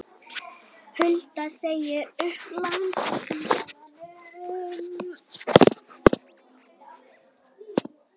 Hulda segir upp á Landspítalanum